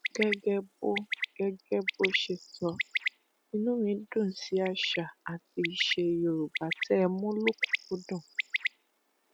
gẹgẹ bó gẹgẹ bó ṣe sọ inú mi dùn sí àṣà àti ìṣe yorùbá tẹ ẹ mú lòkunùnkúdùn